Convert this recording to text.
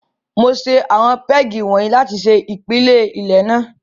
Mo ṣe àwọn pégì wọ̀nyí láti ṣe ìpìlẹ ilé náà.